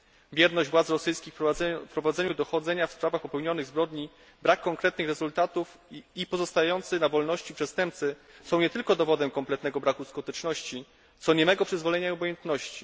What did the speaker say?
Bierność władz rosyjskich w prowadzeniu dochodzenia w sprawach popełnionych zbrodni, brak konkretnych rezultatów i pozostający na wolności przestępcy są nie tylko dowodem kompletnego braku skuteczności, co niemego przyzwolenia i obojętności.